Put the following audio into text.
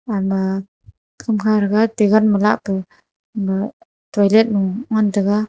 ama kamkha ragate gan ma lahpu ma toilet no ngan taiga.